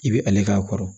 I bɛ ale k'a kɔrɔ